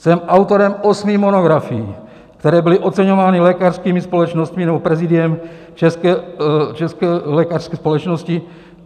Jsem autorem osmi monografií, které byly oceňovány lékařskými společnostmi nebo prezidiem České lékařské společnosti.